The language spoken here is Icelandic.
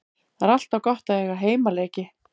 Það er alltaf gott að eiga heimaleiki.